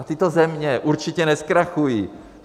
A tyto země určitě nezkrachují.